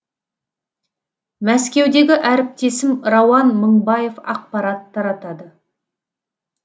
мәскеудегі әріптесім рауан мыңбаев ақпарат таратады